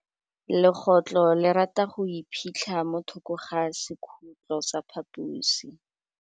Legôtlô le rata go iphitlha mo thokô ga sekhutlo sa phaposi.